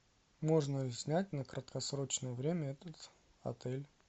можно ли снять на краткосрочное время этот отель